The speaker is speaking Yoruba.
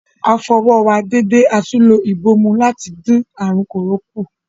A fọ ọwọ́ wa dédé atún lo ìbòmú láti dín àrùn kòró kù.